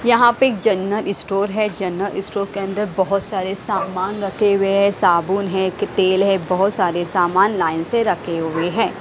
यहां पे general store है जनरल स्टोर के अंदर बहोत सारे सामान रखे हुए है साबुन है कि तेल है बहोत सारे सामान लाइन से रखे हुए हैं।